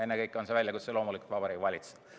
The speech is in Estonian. Ennekõike on see väljakutse loomulikult Vabariigi Valitsusele.